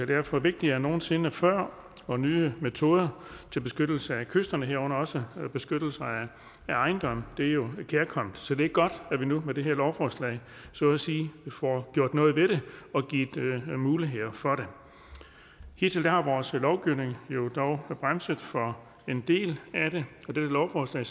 derfor vigtigere end nogen sinde før og nye metoder til beskyttelse af kysterne herunder også beskyttelse af ejendomme er jo kærkomne så det er godt at vi nu med det her lovforslag så at sige får gjort noget ved det og givet mulighed for det hidtil har vores lovgivning jo bremset for en del af det og dette lovforslag